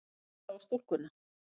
Ég horfi á stúlkuna.